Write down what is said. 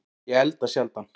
Ég elda sjaldan